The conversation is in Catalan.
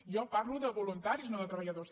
jo parlo de voluntaris no de treballadors